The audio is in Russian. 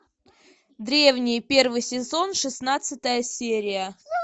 древние первый сезон шестнадцатая серия